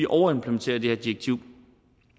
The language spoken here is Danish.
overimplementerer det her direktiv